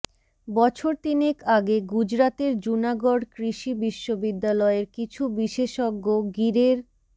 বছর তিনেক আগে গুজরাতের জুনাগড় কৃষি বিশ্ববিদ্যালয়ের কিছু বিশেষজ্ঞ গিরের